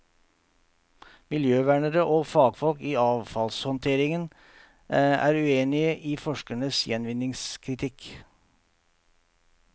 Miljøvernere og fagfolk i avfallshåndtering er uenige i forskernes gjenvinningskritikk.